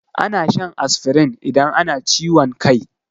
Ana shan asfirin idan ana ciwon kai.